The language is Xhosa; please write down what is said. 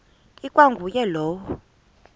ikwa nguye lowo